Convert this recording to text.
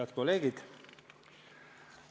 Head kolleegid!